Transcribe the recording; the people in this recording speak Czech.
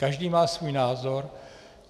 Každý má svůj názor.